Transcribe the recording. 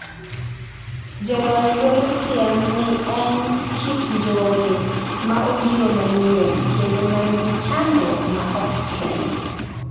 Jolony golo siem ni en kit njore ma obiro manyien kendo ma nigi chandruok ma ok tin.